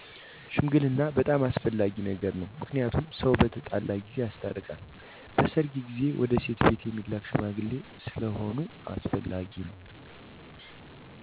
ሽምግልና' በጣም አስፈላጊ ነው ምክንያቱም ሰው በተጣላ ጊዜ ያስታርቃል በሰርጌ ጊዜ ወደ ሴት ቤት እሚላክ ሽምግልና ስለሁነ አስፈላጊ ነው።